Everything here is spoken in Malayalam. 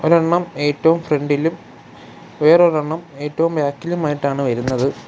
ഒരെണ്ണം ഏറ്റവും ഫ്രണ്ടിലും വേറൊരെണ്ണം ഏറ്റവും ബാക്കിലുമായിട്ടാണ് വരുന്നത്.